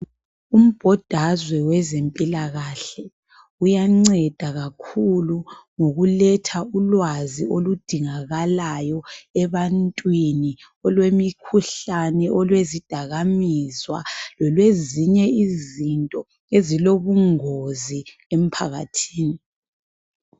Umbodazwe wezempilakahle uyanceda kakhulu ngokuletha ulwazi oludingakalayo ebantwini olwemikhuhlane olezidakamizwa lezinye izinto ezilobungozi emphakathini.